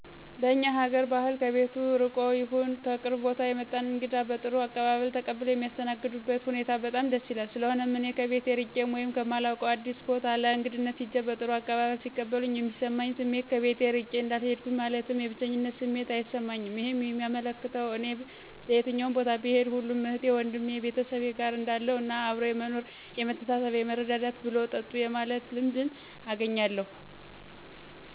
በእኛ ሀገአር ባህል ከቤቱ ርቆም ይሁን ከቅርብ ቦታ የመጣን እንግዳ በጥሩ አቀባበል ተቀብለው የሚያስተናግዱበት ሁኔታ በጣም ደስ ይላል። ስለሆነም እኔ ከቤቴ እርቄ ወይም ከማላውቀው አዲስ ቦታ ለእግድነት ሂጀ በጥሩ አቀባበል ሲቀበሉኝ የሚሰማኝ ስሜት ከቤቴ እርቄ እንዳልሄድሁኝ ማለትም የብቸኝነት ስሜት አይሰማኝም ይህም የሚያመለክተው እኔ በየትም ቦታ ብሄድ ሁሉም እህቴ ወንድሜ(ቤተሰቤ)ጋር እንዳለሁ እና አብሮ የመኖር የመተሳሰብ የመረዳዳት፣ ብሉ ጠጡ የማለት ልምድንም አገኛለሁ።